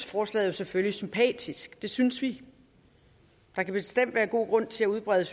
forslaget selvfølgelig sympatisk det synes vi der kan bestemt være god grund til at udbrede